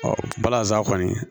balazan kɔni